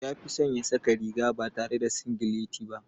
Ya fi son ya saka riga ba tare da singileti ba.